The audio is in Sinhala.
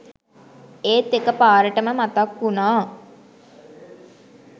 ඒත් එකපාරටම මතක් වුණා